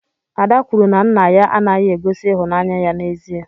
Ada kwuru na nna ya anaghị egosi ịhụnanya ya n'ezie.